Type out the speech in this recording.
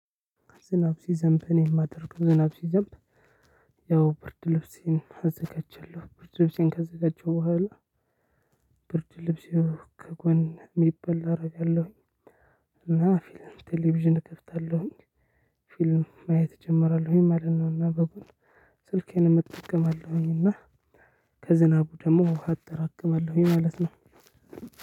ዝናብ ሲዘንብ እኔ የማደርገው ዝናብ ሲዘንብ ያው ብርድ ልብሴን አዘጋጃለሁ። ብርድ ልብሴን ከዘጋጀሁ በኋላ ብርድ ልብሴን ከጎን የሚበላ አደርጋለሁኝ። እና 'ፊልም' ቴሌቪዥን እከፍታለሁኝ 'ፊልም' ማየት እጀምራለሁኝ ማለት ነው። እና በጎን ስልኬንም እጠቀማለሁኝ እና ከዝናቡ ደግሞ ውሃ አጠራቅማለሁኝ ማለት ነው።